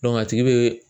a tigi be